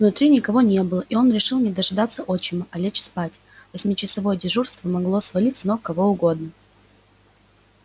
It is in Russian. внутри никого не было и он решил не дожидаться отчима а лечь спать восьмичасовое дежурство могло свалить с ног кого угодно